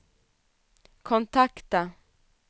kontakta